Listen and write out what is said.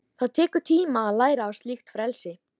Það tekur tíma að læra á slíkt frelsi.